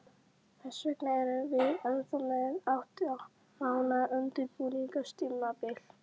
Hvers vegna erum við ennþá með átta mánaða undirbúningstímabil?